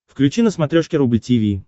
включи на смотрешке рубль ти ви